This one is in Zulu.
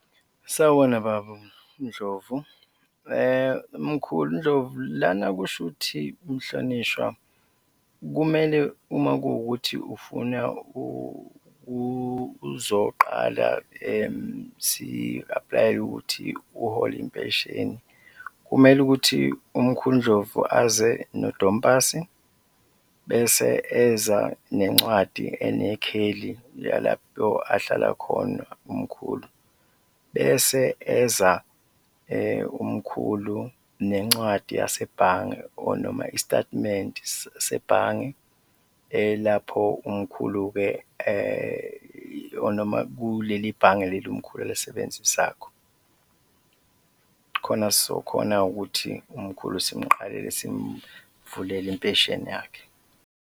Sawubona babuNdlovu, mkhuluNdlovu lana kushuthi mhlonishwa kumele uma kuwukuthi ufuna uzoqala si-aplayele ukuthi uhole impesheni, kumele ukuthi umkhuluNdlovu aze no-dom pasi bese eza nencwadi enekheli la lapho ahlala khona umkhulu bese eza umkhulu nencwadi yasebhange or noma isitatimende sebhange, lapho umkhulu-ke or noma kuleli bhange leli umkhulu alisebenzisakho, khona sizokhona ukuthi umkhulu simukuqalele simuvulele impesheni yakhe.